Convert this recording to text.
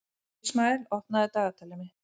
Ísmael, opnaðu dagatalið mitt.